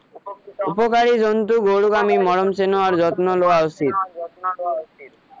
উপকাৰী জন্তুক আমি মৰম চেনেহ আৰু যত্ন লোৱা উচিত